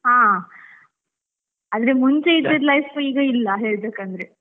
ಹಾ, ಆದ್ರೆ ಮುಂಚೆ ಇದ್ದದ್ life ಈಗ ಇಲ್ಲ ಹೇಳ್ಬೇಕಂದ್ರೆ.